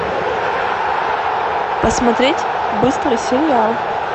посмотреть быстрый сериал